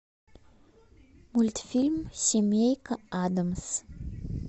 мультфильм семейка адамс